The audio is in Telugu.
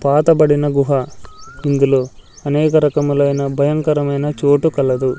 పాత బడిన గుహ ఇందులో అనేక రకములైన భయంకరమైన చోటు కలదు.